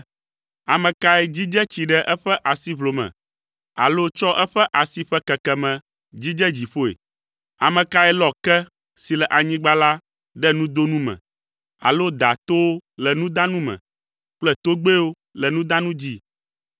Ame kae dzidze tsi ɖe eƒe asiʋlome alo tsɔ eƒe asi ƒe kekeme dzidze dziƒoe? Ame kae lɔ ke si le anyigba la ɖe nudonu me alo da towo le nudanu me kple togbɛwo le nudanu dzi?